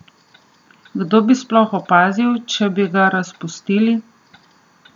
Kdo bi sploh opazil, če bi ga razpustili?